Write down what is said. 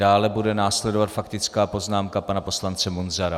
Dále bude následovat faktická poznámka pana poslance Munzara.